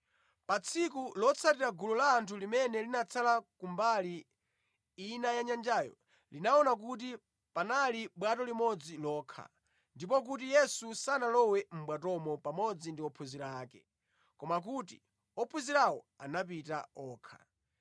Pa tsiku lotsatira gulu la anthu limene linatsala kumbali ina yanyanjayo linaona kuti panali bwato limodzi lokha, ndipo kuti Yesu sanalowe mʼbwatomo pamodzi ndi ophunzira ake, koma kuti ophunzirawo anapita okha.